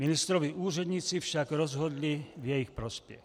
Ministrovi úředníci však rozhodli v jejich prospěch.